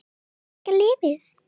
En hvernig virkar lyfið?